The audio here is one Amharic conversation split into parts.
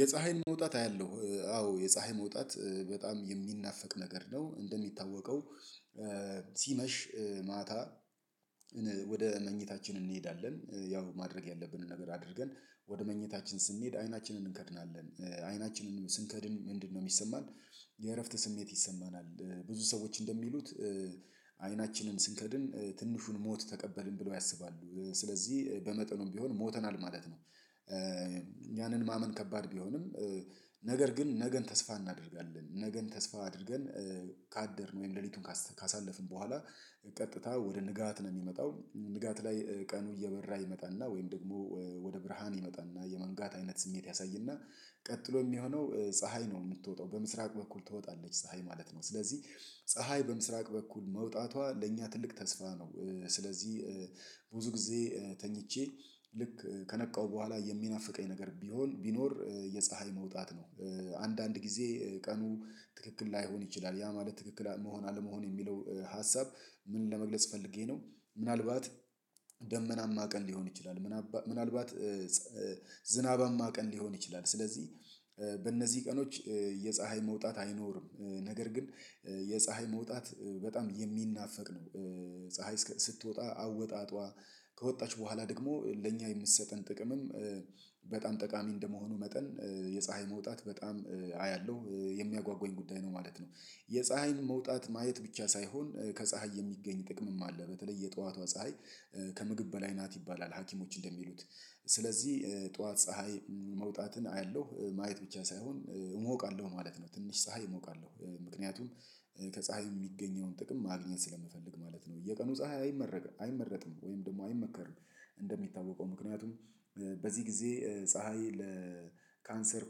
የፀሀይን መውጣት አያለሁ አዎ የፀሀይ መውጣት በጣም የሚናፈቅ ነገር ነው። እንደሚታወቀው ሲመሽ ማታ። ወደ መኝታችን እንሄዳለን ያው ማድረግ ያለብንን ነገር አድርገን ወደ መኝታችን ስንሄድ አይናችንን እንከድናለን። አይናችንን ስንከድን ምንድነው የሚሰማን? የእረፍት ስሜት ይሰማናል። ብዙ ሰዎች እንደሚሉት አይናችንን ስንከድን ትንሹን ሞት ተቀበልን ብለው ያስባሉ ስለዚህ በመጠኑም ቢሆን ሞተናል ማለት ነው። ያንን ማመን ከባድ ቢሆንም። ነገር ግን ነገን ተስፋ እናደርጋለን ነገን ተስፋ አድርገን ካደርን ወይም ሌሊቱን ካሳለፍን በኋላ ቀጥታ ወደ ንጋት ነው የሚመጣው። ንጋት ላይ ቀኑ እየበራ ይመጣና ወይም ደግሞ ወደ ብርሃን ይመጣና የመንጋት አይነት ስሜት ያሳይና ቀጥሎ የሚሆነው ፀሀይ ነው የምትወጣው በምስራቅ በኩል ትወጣለች ፀሀይ ማለት ነው። ስለዚህ ፀሀይ በምስራቅ በኩል መውጣቷ ለእኛ ትልቅ ተስፋ ነው። ስለዚህ ብዙ ጊዜ ተኝቼ ልክ ከነቃው በኋላ የሚናፍቀኝ ነገር ቢሆን ቢኖር የፀሀይ መውጣት ነው። አንዳንድ ጊዜ ቀኑ ትክክል ላይሆን ይችላል ያ ማለት ትክክል መሆን አለመሆን የሚለው ሀሳብ ምን ለመግለጽ ፈልጌ ነው። ምናልባት ደመናማ ቀን ሊሆን ይችላል። ምናልባት ዝናባማ ቀን ሊሆን ይችላል። ስለዚህ በእነዚህ ቀኖች የፀሀይ መውጣት አይኖርም። ነገር ግን የፀሀይ መውጣት በጣም የሚናፈቅ ነው። ፀሀይ ስትወጣ አወጣጧ ከወጣች በኋላ ደግሞ ለእኛ የምትሰጠን ጥቅምም በጣም ጠቃሚ እንደመሆኑ መጠን የፀሀይ መውጣት በጣም አያለሁ የሚያጓጉኝ ጉዳይ ነው ማለት ነው። የፀሀይን መውጣት ማየት ብቻ ሳይሆን ከፀሀይ የሚገኝ ጥቅምም አለ በተለይ የጠዋቷ ፀሀይ ከምግብ በላይ ናት ይባላል ሀኪሞች እንደሚሉት። ስለዚህ ጠዋት ፀሀይ መውጣትን አያለሁ ማየት ብቻ ሳይሆን እሞቃለሁ ማለት ነው። ትንሽ ፀሀይ እሞቃለሁ ምክንያቱም ከፀሀይ የሚገኘውን ጥቅም ማግኘት ስለምፈልግ ማለት ነው። የቀኑ ፀሀይ አይመረጥም ወይም ደግሞ አይመከርም። እንደሚታወቀው ምክንያቱም በዚህ ጊዜ ፀሀይ ለካንሰር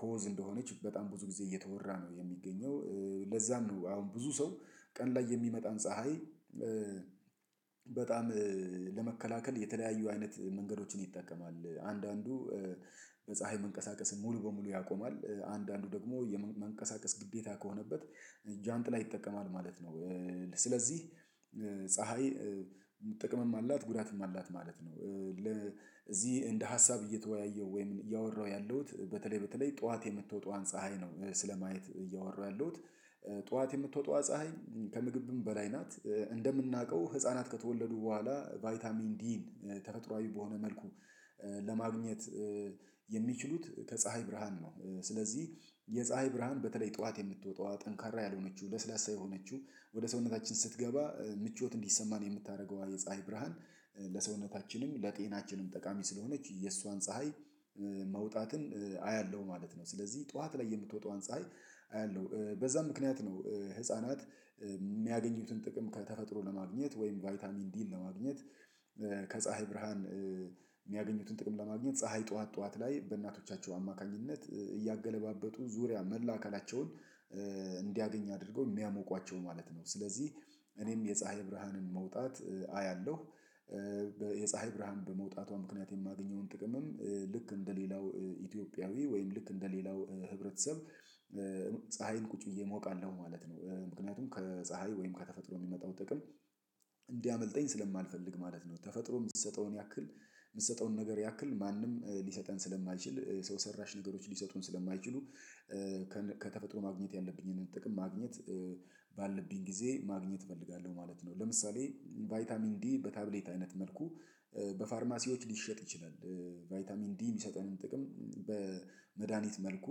ኮዝ እንደሆነች በጣም ብዙ ጊዜ እየተወራ ነው የሚገኘው። ለዛ ለዛም ነው አሁን ብዙ ሰው ቀን ላይ የሚመጣን ፀሀይ በጣም ለመከላከል የተለያዩ አይነት መንገዶችን ይጠቀማል። አንዳንዱ በፀሀይ መንቀሳቀስን ሙሉ በሙሉ ያቆማል። አንዳንዱ ደግሞ የመንቀሳቀስ ግዴታ ከሆነበት ጃንጥላ ይጠቀማል ማለት ነው። ስለዚህ ፀሀይ ጥቅምም አላት ጉዳትም አላት ማለት ነው። ለዚህ እንደ ሀሳብ እየተወያየሁ ወይም እያወራሁ ያለሁት በተለይ በተለይ ጠዋት የምትወጣዋን ፀሀይ ነው ስለማየት እያወራሁ ያለሁት። ጠዋት የምትወጣዋ ፀሀይ ከምግብም በላይ ናት። እንደምናውቀው ህፃናት ከተወለዱ በኋላ ቫይታሚን ዲን ተፈጥሮአዊ በሆነ መልኩ ለማግኘት ከፀሀይ ብርሃን ነው። ስለዚህ የፀሀይ ብርሃን በተለይ ጠዋት የምትወጣዋ ጠንካራ ያልሆነችው ለስላሳ የሆነችው ወደ ሰውነታችን ስትገባ ምቾት እንዲሰማን የምታደርገው የፀሀይ ብርሃን ለሰውነታችንም ለጤናችንም ጠቃሚ ስለሆነች የሷን ፀሀይ መውጣትን አያለሁ ማለት ነው። ስለዚህ ጠዋት ላይ የምትወጣውን ፀሀይ አያለሁ በዛ ምክንያት ነው። ህፃናት የሚያገኙትን ጥቅም ከተፈጥሮ ለማግኘት ወይም ቫይታሚን ዲን ለማግኘት ከፀሀይ ብርሃን የሚያገኙትን ጥቅም ለማግኘት ፀሀይ ጠዋት ጠዋት ላይ በእናቶቻቸው አማካኝነት እያገለባበጡ ዙሪያ መላ አካላቸውን እንዲያገኝ አድርገው የሚያሞቋቸው ማለት ነው። ስለዚህ እኔም የፀሀይ ብርሃንን መውጣት አያለሁ። የፀሀይ ብርሃን በመውጣቷ ምክንያት የማገኘውን ጥቅምም ልክ እንደሌላው ኢትዮጵያዊ ወይም ልክ እንደሌላው ህብረተሰብ ፀሀይን ቁጭ ብዬ እሞቃለሁ ማለት ነው። ምክንያቱም ከፀሀይ ወይም ከተፈጥሮ የሚመጣው ጥቅም እንዲያመልጠኝ ስለማልፈልግ ማለት ነው። ተፈጥሮ የምትሰጠውን ያክል የምትሰጠውን ነገር ያክል ማንም ሊሰጠን ስለማይችል ሰው ሰራሽ ነገሮች ሊሰጡን ስለማይችሉ። ከተፈጥሮ ማግኘት ያለብኝን ጥቅም ማግኘት ባለብኝ ጊዜ ማግኘት እፈልጋለሁ። ማለት ለምሳሌ ቫይታሚን ዲ በታብሌት አይነት መልኩ በፋርማሲዎች ሊሸጥ ይችላል። ቫይታሚን ዲ የሚሰጠንም ጥቅም በመድሃኒት መልኩ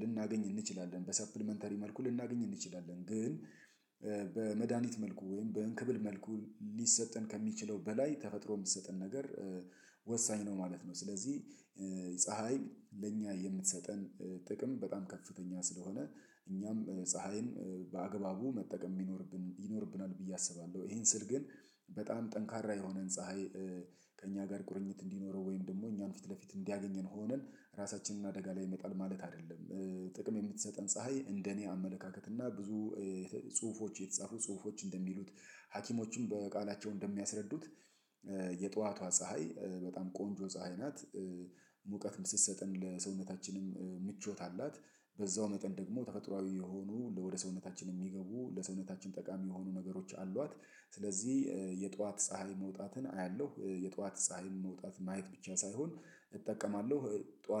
ልናገኝ እንችላለን በሰፕሊመንተሪ መልኩ ልናገኝ እንችላለን። ግን በመድሃኒት መልኩ ወይም በእንክብል መልኩ ሊሰጠን ከሚችለው በላይ ተፈጥሮ የምትሰጠን ነገር ወሳኝ ነው ማለት ነው። ስለዚህ ፀሀይ ለእኛ የምትሰጠን ጥቅም በጣም ከፍተኛ ስለሆነ እኛም ፀሀይን በአግባቡ መጠቀም ቢኖርብን ይኖርብናል ብዬ አስባለሁ። ይሄን ስል ግን በጣም ጠንካራ የሆነን ፀሀይ ከእኛ ጋር ቁርኝት እንዲኖረው ወይም ደግሞ እኛን ፊት ለፊት እንዲያገኘን ሆነን ራሳችንን አደጋ ላይ ይመጣል ማለት አይደለም። ጥቅም የምትሰጠን ፀሀይ እንደኔ አመለካከት እና ብዙ ጽሁፎች የተጻፉ ጽሁፎች እንደሚሉት ሀኪሞችም በቃላቸው እንደሚያስረዱት የጠዋቷ ፀሀይ በጣም ቆንጆ ፀሀይ ናት። ሙቀት ስትሰጠን ለሰውነታችንም ምቾት አላት። በዛው መጠን ደግሞ ተፈጥሮአዊ የሆኑ ወደ ሰውነታችን የሚገቡ ለሰውነታችን ጠቃሚ የሆኑ ነገሮች አሏት። ስለዚህ የጧት ፀሀይ መውጣትን አያለሁ የጧት ፀሀይ መውጣት ማየት ብቻ ሳይሆን እጠቀማለሁ ጧት